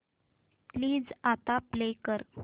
please आता play कर